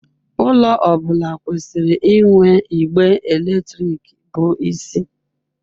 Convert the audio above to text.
Ụlọ ọ bụla kwesịrị inwe igbe eletrik bụ isi.